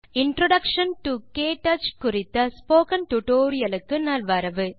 introduction to KTouch spoken tutorial க்கு நலவரவு